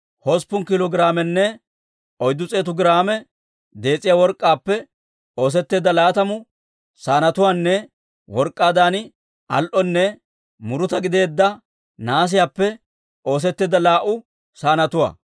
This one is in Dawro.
hosppun kiilo giraamenne oyddu s'eetu giraame dees'iyaa work'k'aappe oosetteedda laatamu saanetuwaanne work'k'aadan al"onne muruta gideedda nahaasiyaappe oosetteedda laa"u saanetuwaa.